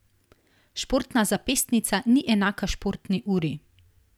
Športna zapestnica ni enaka športni uri.